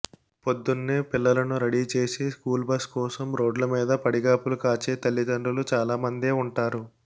పొద్దున్నే పిల్లలను రెడీ చేసి స్కూల్ బస్ కోసం రోడ్ల మీద పడిగాపులు కాచే తల్లిదండ్రులు చాలామందే ఉంటారు